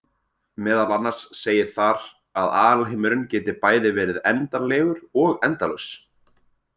Meðal annars segir þar að alheimurinn geti bæði verið endanlegur og endalaus!